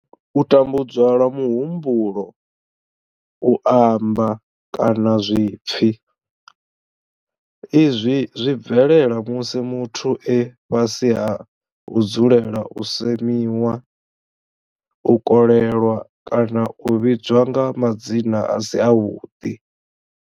U tambudzwa lwa muhumbulo, u amba, kana zwipfi, Izwi zwi bvelela musi muthu e fhasi ha u dzulela u semiwa, u kolelwa kana u vhidzwa nga madzina a si avhuḓi.